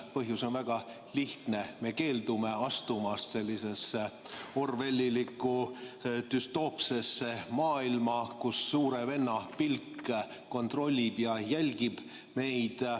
Põhjus on väga lihtne: me keeldume astumast sellisesse orwellilikku düstoopsesse maailma, kus suure venna pilk kontrollib ja jälgib meid.